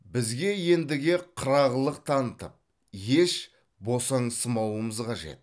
бізге ендіге қырағылық танытып еш босаңсымауымыз қажет